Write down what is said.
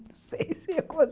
Não sei se eu